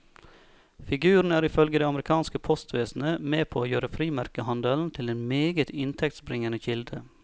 Figuren er ifølge det amerikanske postvesenet med på å gjøre frimerkehandelen til en meget inntektsbringende kilde.